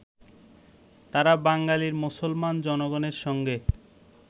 তাঁরা বাঙালী মুসলমান জনগণের সঙ্গে